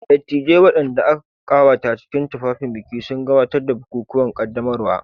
Dattijai, waɗanda aka ƙawata cikin tufafin biki, sun gabatar da bukukuwan ƙaddamarwa.